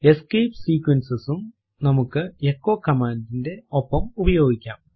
escape sequences സും നമ്മുക്ക് echo command ന്റെ ഒപ്പം ഉപയോഗിക്കാം